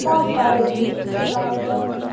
बहुत सारे गिफ्ट्स लाये गये हैं।